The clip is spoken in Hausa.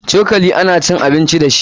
Cokali ana cin abici dashi.